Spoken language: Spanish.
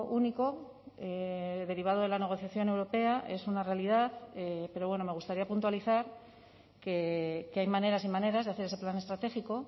único derivado de la negociación europea es una realidad pero bueno me gustaría puntualizar que hay maneras y maneras de hacer ese plan estratégico